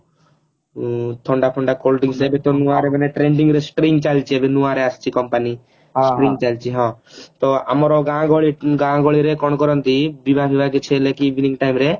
ହଁ ଥଣ୍ଡା ଥଣ୍ଡା cold drinks ଏବେ ତ ନୂଆ ମାନେ trending ରେ stream ଚାଲିଛି ଏବେ ନୂଆ ରେ ଆସିଛି company stream ଚାଲିଛି ତ ଆମର ଗାଁ ଗହଳି ଗାଁ ଗହଳି ରେ କଣ କରନ୍ତି ଦିବା ଫିବା କିଛି ହେଲେ କି evening time ରେ